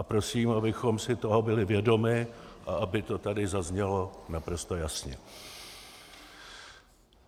A prosím, abychom si toho byli vědomi a aby to tady zaznělo naprosto jasně.